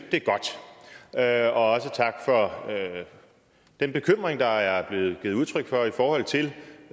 det er også tak for den bekymring der er blevet givet udtryk for i forhold til